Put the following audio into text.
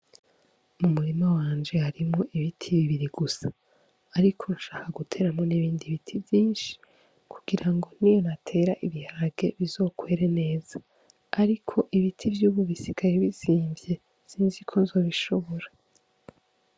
Mu murima wanje harimwo ibiti bibiri gusa ariko nshaka gutera n' ibindi biti vyinshi kugira ngo niho natera ibiharage bizokwere neza ariko ibiti vy' ubu bisigaye bizimvye sinzi ko nzobishobora.